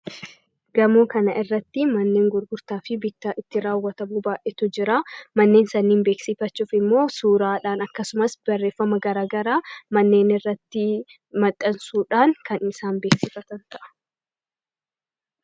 Gamoo kana irratti manneen gurgurtaa fi bittaa itti raawwatamuu baay'eetu jira manneen sanniin beeksiifachuuf immoo suuraadhaan akkasumas barreeffama garagaraa manneen irratti maxxansuudhaan kan isaan beeksiifatan ta'a.